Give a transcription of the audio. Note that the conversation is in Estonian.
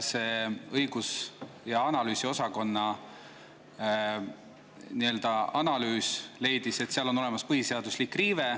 Õigus‑ ja analüüsiosakonna analüüs leidis, et seal on põhiseaduse riive.